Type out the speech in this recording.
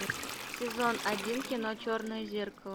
сезон один кино черное зеркало